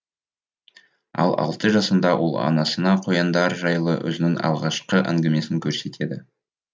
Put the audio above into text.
ал алты жасында ол анасына қояндар жайлы өзінің алғашқы әңгімесін көрсетеді